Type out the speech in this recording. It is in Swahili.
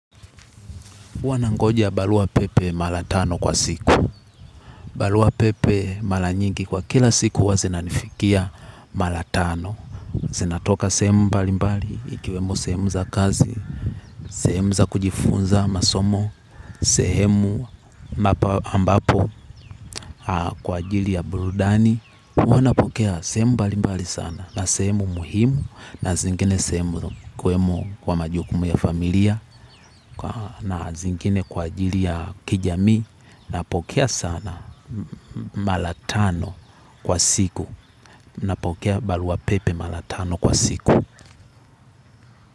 Huwa nangoja baruwa pepe mara tano kwa siku. Barua pepe mara nyingi kwa kila siku huwa zanifikia mara tano. Zinatoka sehemu balimbali, ikiwemo sehemu za kazi, sehemu za kujifunza masomo, sehemu ambapo kwa ajili ya burudani. Hunapokea sehemu balimbali sana. Na semu muhimu, na zingine sehemu ikiwemo kwa majukumu ya familia, na zingine kwa ajili ya kijami, na pokea sana mara tano kwa siku. Napokea baruwa pepe mara tano kwa siku.